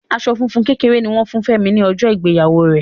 Aṣọ funfun kékeré ni wọn fún Femi ni ọjọ ìgbéyàwó rẹ.